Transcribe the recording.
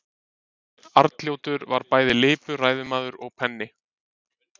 Arnljótur var bæði lipur ræðumaður og penni.